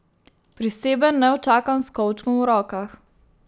Priseben, neučakan, s kovčkom v rokah.